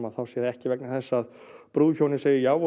þá sé það ekki vegna þess að brúðhjónin segi já og